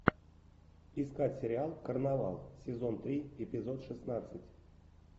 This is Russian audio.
искать сериал карнавал сезон три эпизод шестнадцать